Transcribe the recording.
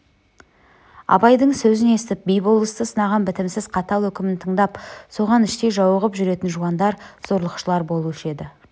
абайдың сөзін естіп би-болысты сынаған бітімсіз қатал өкімін тыңдап соған іштей жауығып жүретін жуандар зорлықшылар болушы еді